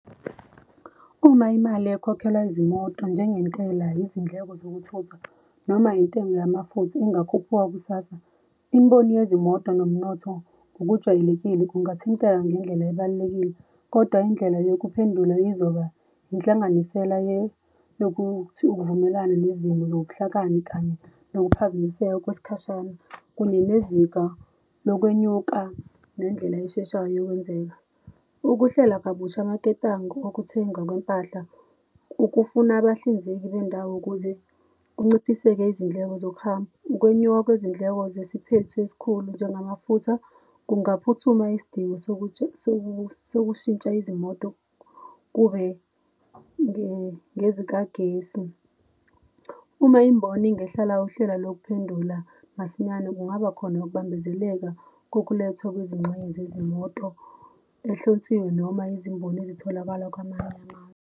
Uma imali ekhokhelwa izimoto njengentela, izindleko zokuthutha noma intengo yamafutha ingakhuphuka kusasa, imibono yezimoto nomnotho ngokujwayelekile kungathinteka ngendlela ebalulekile, Kodwa indlela yokuphendula izoba yinhlanganisela yokuthi ukuvumelana nezimo nobuhlakani kanye nokuphazamiseka kwesikhashana kunye nezinga lokwenyuka nendlela esheshayo yokwenzeka. Ukuhlela kabusha amaketanga okuthengwa kwempahla, ukufuna abahlinzeki bendawo ukuze kunciphiseke izindleko zokuhamba. Ukwenyuka kwezindleko sesiphethu esikhulu njengamafutha kungaphuthuma isidingo sokushintsha izimoto kube ngezikagesi. Uma imboni ingahlela uhlelo lokuphendula masinyane kungaba khona ukubambezeleka kokulethwa kwezingxenye zezimoto noma izimboni ezitholakala kwamanye .